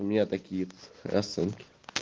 у меня такие расценки